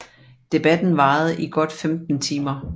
Debatten varede i godt 15 timer